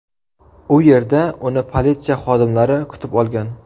U yerda uni politsiya xodimlari kutib olgan.